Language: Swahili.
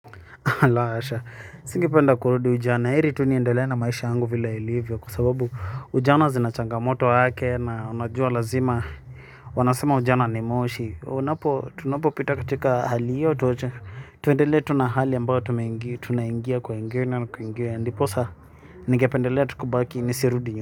La hasha, singependa kurudi ujana, heri tu niendelee na maisha yangu vile ilivyo kwa sababu ujana zina changamoto wake na unajua lazima wanasema ujana ni moshi tunapopita katika hali hiyo tuendelee tu na hali ambayo tunaingia kwa ingine na kwingine ndiposa ningependelea tu kubaki nisirudi nyuma.